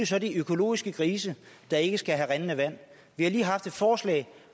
så de økologiske grise der ikke skal have rindende vand vi har lige haft et forslag